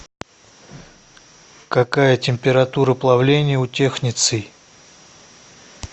какая температура плавления у технеций